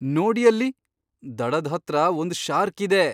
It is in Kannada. ನೋಡಿ ಅಲ್ಲಿ! ದಡದ್ ಹತ್ರ ಒಂದ್ ಶಾರ್ಕ್ ಇದೆ!